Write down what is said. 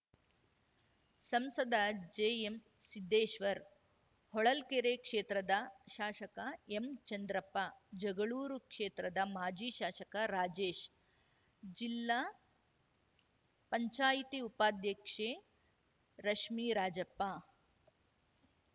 ಸಂಸದ ಜೆಎಂಸಿದ್ದೇಶ್ವರ್‌ ಹೊಳಲ್ಕೆರೆ ಕ್ಷೇತ್ರದ ಶಾಷಕ ಎಂಚಂದ್ರಪ್ಪ ಜಗಳೂರು ಕ್ಷೇತ್ರದ ಮಾಜಿ ಶಾಷಕ ರಾಜೇಶ್‌ ಜಿಲ್ಲಾ ಪಂಚಾಯತಿ ಉಪಾದ್ಯಕ್ಷೆ ರಶ್ಮೀರಾಜಪ್ಪ